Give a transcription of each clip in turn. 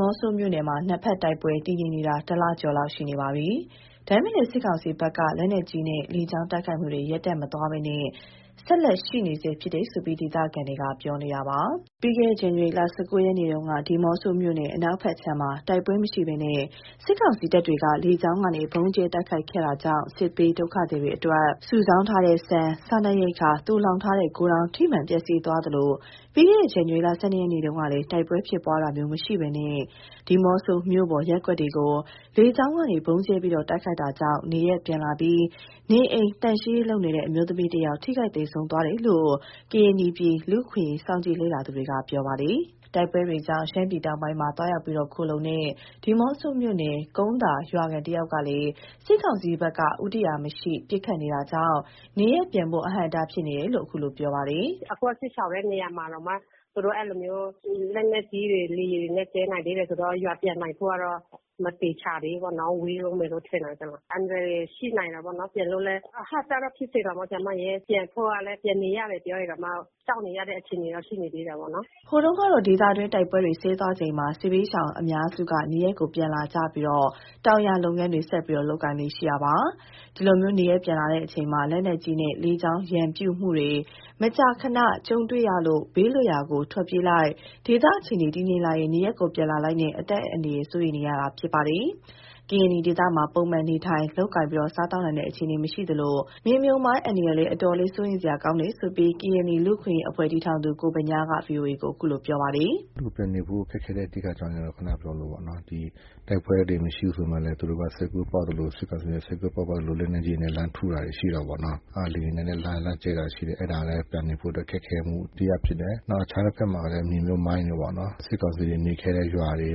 မော့ဆိုမြို့နယ်မှာ နှစ်ဖက်တိုက်ပွဲတည်ငြိမ်နေတာ တစ်လကျော်လောက်ရှိနေပါပြီ၊ ဒါပေမဲ့ စစ်ကောင်စီဘက်က လက်နက်ကြီးနဲ့ လေကြောင်းတိုက်ခိုက်မှုတွေ ရပ်တန့်မသွားဘဲ ဆက်လက်ရှိနေဆဲဖြစ်တယ်လို့ ဒေသခံ တွေကပြောပါတယ်။ ပြီးခဲ့တဲ့ ဇန်နဝါရီလ ၁၉ ရက်နေ့က ဒီးမော့ဆိုမြို့နယ် အနောက်ဘက်ခြမ်းမှာ တိုက်ပွဲမရှိဘဲ စစ်ကောင်စီတပ်တွေက လေကြောင်းကနေ ဗုံးကြဲတိုက်ခိုက်ခဲ့တာကြောင့် စစ်ပြေးဒုက္ခသည်အတွက် စုဆောင်းထားတဲ့ ဆန်၊ စားနပ်ရိက္ခာသိုလှောင်ထားတဲ့ ဂိုဒေါင်ထိမှန်ပျက်စီးသွားသလို ပြီးခဲ့တဲ့ ဇန်နဝါရီလ ၁၂ ရက်နေ့တုန်းကလည်း တိုက်ပွဲ ဖြစ်ပွားတာမျိုးမရှိဘဲ ဒီးမော့ဆိုမြို့ပေါ်ရပ်ကွက်တွေကို လေကြောင်းကနေ ဗုံးကြဲတိုက်ခိုက်တာကြောင့် နေရပ်ပြန်လာပြီး နေအိမ်သန့်ရှင်းရေးလုပ်တဲ့ အမျိုးသမီးတစ်ဦး ထိခိုက်သေဆုံးသွားတယ်လို့ ကရင်နီပြည် လူ့အခွင့်အရေး စောင့်ကြည့်လေ့လာသူတွေက ပြောပါတယ်။ တိုက်ပွဲတွေကြောင့် ရှမ်းပြည်တောင်ပိုင်းမှာ သွားရောက်ခိုလှုံတဲ့ ဒီးမော့ဆိုမြို့နယ် ကုန်းသာရွာခံတဦးကလည်း စစ်ကောင်စီဘက်က ဦးတည်ရာမရှိ ပစ်ခတ်နေတာကြောင့် နေရပ်ပြန်ဖို့ အဟန့်အတားဖြစ်စေတယ်လို့ ခုလို ပြောပါတယ်။ “အခု စစ်ရှောင်တဲ့နေရာမှာတောင်မှ သူတို့ အဲ့လိုမျိုး လက်နက်ကြီးတွေ လေယာဉ်တွေနဲ့ ကြဲနိုင်သေးတယ်ဆိုတော့ ရွာပြန်နိုင်ဖို့ကတော့ မသေချာသေးဘူးပေါ့နော်၊ ဝေးတုန်းပဲလို့ထင်တယ်။ အန္တရာယ်တွေရှိနိုင်တာပေါ့နော်၊ ပြန်လို့လည်း အဟန့်အတားတော့ ဖြစ်စေတာပေါ့။ ပြန်ဖို့ကလည်း ပြန်နေရတယ် ပြောရင်တောင်မှ ကြောက်နေရတဲ့ အခြေအနေတော့ ရှိနေသေးတာပေါ့နော်။” ဟိုတုန်းကတော့ ဒေသတွင်း တိုက်ပွဲတွေ စဲသွားချိန်မှာ စစ်ပြေးရှောင်အများစုဟာ နေရပ် ပြန်လာကြပြီး တောင်ယာလုပ်ငန်းတွေ ဆက်လုပ်ကိုင်လေ့ရှိကြပါတယ်။ ဒီလို နေရပ်ပြန်လာတဲ့အချိန် လက်နက်ကြီးနဲ့ လေကြောင်းရန်ပြုမှုတွေ မကြာခဏ ကြုံတွေ့ရလို့ ဘေးလွတ်ရာကို ထွက်ပြေးလိုက် ဒေသအခြေအနေတည်ငြိမ်လာရင် နေရပ်ပြန်လာလိုက်နဲ့ အသက်အန္တရယ် စိုးရိမ်နေရတာပါ။ ကရင်နီဒေသမှာ ပုံမှန်နေထိုင် လုပ်ကိုင်စားသောက်နိုင်တဲ့ အခြေအနေ မရှိသလို မြေမြှုပ်မိုင်း အန္တရာယ်လည်း အတော်လေး စိုးရိမ်စရာကောင်းတယ်လို့ ကရင်နီလူ့အခွင့်အရေးအဖွဲ့တည်ထောင်သူ ကိုဗညားက ဗွီအိုအေကို ခုလို ပြောပါတယ်။ “အဓိက လူပြန်နေဖို့ ခက်ခဲတဲ့ အကြောင်းရင်းတော့ ခုနပြောသလိုပေါ့နော် ဒီတိုက်ပွဲတွေ မရှိဘူးဆိုမှာလည်း သူတို့က စိတ်ကူးပေါက်သလို စစ်ကောင်စီက စိတ်ကူးပေါက်ရင်ပေါက်သလို လက်နက်ကြီးနဲ့ လှမ်းထုတာတွေရှိတာပေ့ါနော်။ လေယာဉ်နဲ့လာကြဲတာရှိတယ် အဲ့ဒါလည်း ပြန်နေဖို့အတွက် ခက်ခဲမှုတစ်ရပ်ဖြစ်တယ်။ နောက်အခြားတဖက်မှာက မြေမြှုပ်မိုင်းတွေပေါ့နော်၊ စစ်ကောင်စီတွေ နေခဲ့တဲ့ရွာတွေ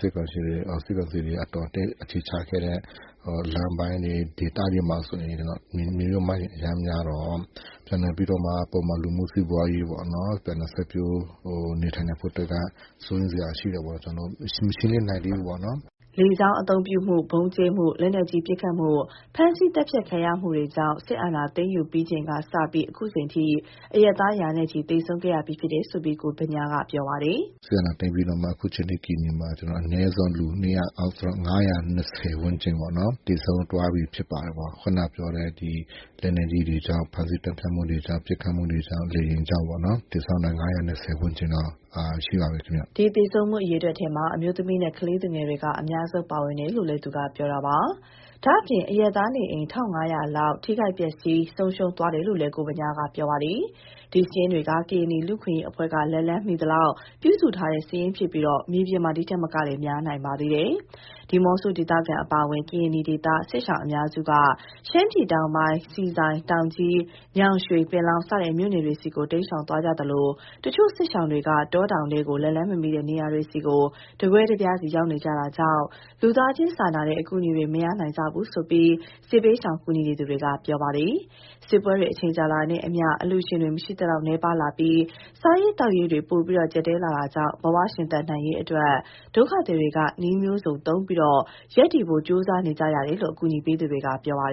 စစ်ကောင်စီ အတော်အသင့်အခြေချခဲ့တဲ့ လမ်းပိုင်းတွေ ဒေသတွေမှာဆိုရင်တော့ မြေမြှုပ်မိုင်းအရမ်းများတော့ ပြန်နေပြီးတော့မှ ပုံမှန်လူမှုစီးပွားရေးပေါ့နော်၊ ပြန်လည်စိုက်ပျိုး နေထိုင်နိုင်ဖို့အတွက်က စိုးရိမ်စရာရှိတာပေါ့ မရှင့်လင်းနိုင်သေးဘူးပေါ့နော်။” လေကြောင်းအသုံးပြု ဗုံးကြဲမှု၊ လက်နက်ကြီးပစ်ခတ်မှု၊ ဖမ်းဆီးသတ်ဖြတ်ခံရမှုတွေကြောင့် စစ်အာဏာသိမ်းယူပြီးချိန်ကစပြီး အခုချိန်ထိ အရပ်သား ရာနဲ့ချီ သေဆုံးခဲ့ရပြီးလို့ လည်း ကိုဗညားက ပြောပါတယ်။ “စစ်အာဏာသိမ်းပြီးနောက်မှာ အခုချိန်ထိ ကရင်နီပြည်မှာ လူ ၅၂၀ ဝန်းကျင်ပေါ့နော် သေဆုံးသွားပြီးဖြစ်ပါတယ်။ ခုနပြောတဲ့ ဒီလက်နက်ကြီးတွေကြောင့် ဖမ်းဆီးသတ်ဖြတ်မှုတွေကြောင့် ပစ်ခတ်မှုတွေကြောင့် လေယာဉ်ကြောင့်ပေါ့နော်" ဒီသေဆုံးမှုအရေအတွက်ထဲမှာ အမျိုးသမီးနဲ့ ကလေးသူငယ်တွေက အများဆုံးပါဝင်တယ်လို့ ပြောပါတယ်။ ဒါ့အပြင် အရပ်သားနေအိမ် ၁၅၀၀ လောက် ထိခိုက်ပျက်စီးဆုံးရှုံးသွားတယ်လို့လည်း ကိုဗညားက ပြောဆိုပါတယ်။ ဒီစာရင်းတွေဟာ ကရင်နီလူ့အခွင့်အရေးအဖွဲ့က လက်လှမ်းမီသလောက် ပြုစုထားတဲ့စာရင်းဖြစ်ပြီး မြေပြင်မှာ ဒီထက်မက များနိုင်ပါတယ်။ ဒီးမော့ဆိုဒေသခံအပါအဝင် ကရင်နီဒေသ စစ်ရှောင်အများစုက ရှမ်းပြည်တောင်ပိုင်း ဆီဆိုင်၊ တောင်ကြီး၊ ညောင်ရွှေ၊ ပင်လောင်း စတဲ့ မြို့နယ်တွေဆီ တိမ်းရှောင်သွားကြသလို တချို့စစ်ရှောင်တွေ တောတောင်ထဲ လက်လှမ်းမမီတဲ့ နေရာတွေကို တကွဲတပြားစီရောက်နေကြတာကြောင့် လူသားချင်းစာနာတဲ့ အကူအညီတွေ မရကြဘူးလို့ စစ်ဘေးရှောင်ကူညီသူတွေက ပြောပါတယ်။ စစ်ပွဲတွေ အချိန်ကြာလာတာနဲ့အမျှ အလှူရှင်တွေ မရှိသလောက်နည်းပါးလာပြီး စားရေးသောက်ရေးတွေ ပိုမိုကျပ်တည်းလာတာကြောင့် ဘဝရှင်သန်နိုင်ရေးအတွက် ဒုက္ခသည်တွေဟာ နည်းမျိုးစုံသုံးပြီး ရပ်တည်ဖို့ ကြိုးစားနေကြရတယ်လို့ အကူအညီပေးသူတွေက ပြောပါတယ်